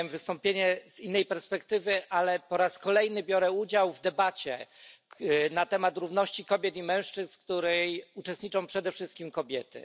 Miałem wystąpienie z innej perspektywy, ale po raz kolejny biorę udział w debacie na temat równości kobiet i mężczyzn, w której uczestniczą przede wszystkim kobiety.